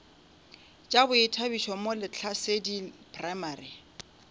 tša boithabišo mo lehlasedi primary